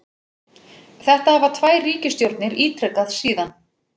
Þetta hafa tvær ríkisstjórnir ítrekað síðan